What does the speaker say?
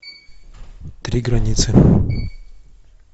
три границы